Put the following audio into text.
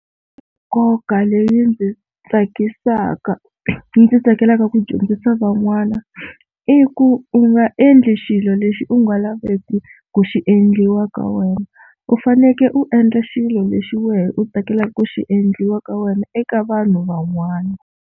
Nkoka leyi ndzi tsakisaka ndzi tsakelaka ku dyondzisa van'wana i ku u nga endli xilo lexi u nga laveki ku xi endliwa ka wena, u fanekele u endla xilo lexi wehe u tsakelaka ku xi endliwa ka wena eka vanhu van'wana.